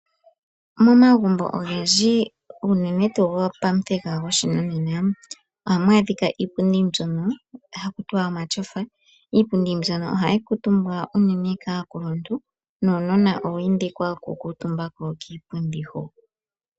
Momagumbo ogendji unene tuu gopamuthika goshinanena ohamu adhikwa iipundi mbyono haku tiwa omatyofa. Kiipundi hono ohaku kuutumba unene aakuluntu nuunona owa indikwa ko okukuutumba ko kiipundi ho.